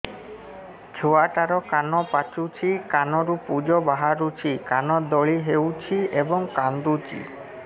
ଛୁଆ ଟା ର କାନ ପାଚୁଛି କାନରୁ ପୂଜ ବାହାରୁଛି କାନ ଦଳି ହେଉଛି ଏବଂ କାନ୍ଦୁଚି